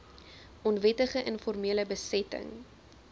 onwettige informele besetting